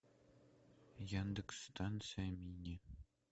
яндекс станция мини